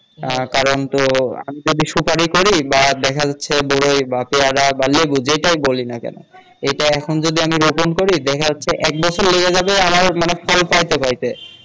আহ কারন তো যদি সুপারি করি বা দেখা যাচ্ছে বরই বা পেয়ারা বা লেবু যেটাই বলি না কেন এটা এখন যদি আমি রোপন করি দেখা যাচ্ছে এক বছর লেগে যাবে আমার মানে ফল পাইতে পাইতে